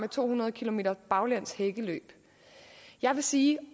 to hundrede kilometers baglæns hækkeløb jeg vil sige at